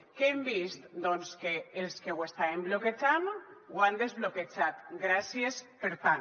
què hem vist doncs que els que ho estaven bloquejant ho han desbloquejat gràcies per tant